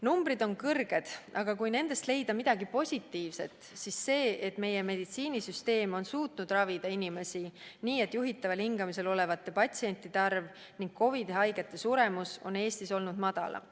Numbrid on suured, aga kui nendes leida midagi positiivset, siis see on see, et meie meditsiinisüsteem on suutnud ravida inimesi nii, et juhitaval hingamisel olevate patsientide arv ning COVID-haigete suremus on Eestis olnud üsna väike.